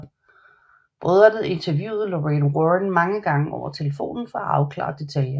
Brødrene interviewede Lorraine Warren mange gange over telefonen for at afklare detaljer